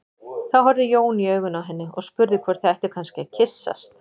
Þá horfði Jón í augun á henni og spurði hvort þau ættu kannski að kyssast.